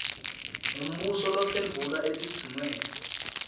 ngumbuso lophendvula etidzingweni